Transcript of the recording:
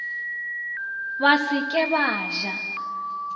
ba se ke ba ja